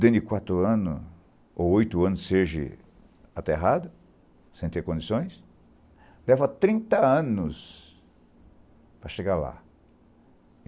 dentro de quatro anos ou oito anos seja aterrado, sem ter condições, leva trinta anos para chegar lá.